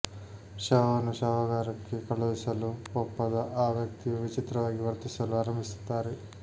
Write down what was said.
ಶವವನ್ನು ಶವಾಗಾರಕ್ಕೆ ಕಳುಹಿಸಲು ಒಪ್ಪದ ಆ ವ್ಯಕ್ತಿಯು ವಿಚಿತ್ರವಾಗಿ ವರ್ತಿಸಲು ಆರಂಭಿಸುತ್ತಾರೆ